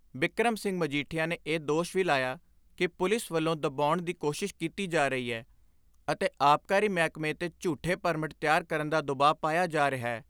ਬਿਕਰਮ ਸਿੰਘ ਮਜੀਠਿਆ ਨੇ ਇਹ ਦੋਸ਼ ਵੀ ਲਾਇਆ ਕਿ ਪੁਲਿਸ ਵੱਲੋਂ ਦੁਬਾਉਣ ਦੀ ਕੋਸ਼ਿਸ਼ ਕੀਤੀ ਜਾ ਰਹੀ ਏ ਅਤੇ ਆਬਕਾਰੀ ਮਹਿਕਮੇ ਤੇ ਝੂਠੇ ਪਰਮਟ ਤਿਆਰ ਕਰਨ ਦਾ ਦੁਬਾਅ ਪਾਇਆ ਜਾ ਰਿਹੈ।